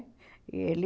E ele...